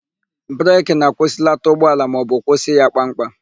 Breki na-akwụsịlata ụgbọala maọbụ kwụsị ya kpam kpam.